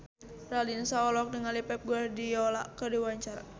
Raline Shah olohok ningali Pep Guardiola keur diwawancara